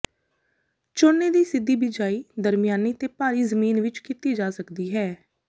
ਝੋਨੇ ਦੀ ਸਿੱਧੀ ਬਿਜਾਈ ਦਰਮਿਆਨੀ ਤੇ ਭਾਰੀ ਜ਼ਮੀਨ ਵਿੱਚ ਕੀਤੀ ਜਾ ਸਕਦੀ ਹੈ